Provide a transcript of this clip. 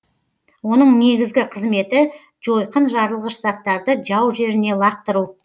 оның негізгі қызметі жойқын жарылғыш заттарды жау жеріне лақтыру